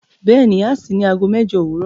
Bẹ́ẹ̀ni, à ṣìí ní àágọ́ mẹ́jọ̀ owurọ